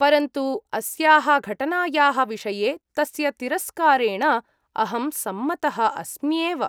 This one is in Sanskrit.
परन्तु, अस्याः घटनायाः विषये तस्य तिरस्कारेण अहं सम्मतः अस्म्येव।